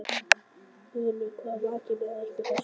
Guðlaugur, hvað vakir fyrir ykkur með þessu?